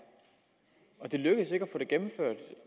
og det lykkedes ikke det gennemført